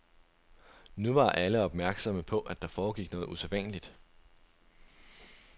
Nu var alle opmærksomme på, at der foregik noget usædvanligt.